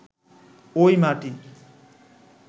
ওই মাটি